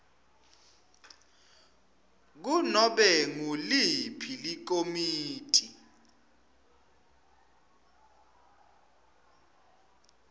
kunobe nguliphi likomiti